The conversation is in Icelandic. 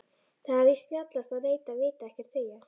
Það er víst snjallast að neita, vita ekkert, þegja.